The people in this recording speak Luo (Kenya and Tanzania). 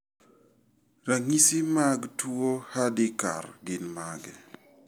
Ranyisi mag mag tuwo Hardikar gin mage?